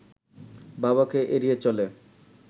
বাবাকে এড়িয়ে চলে